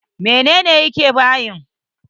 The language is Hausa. Menene yake bayin?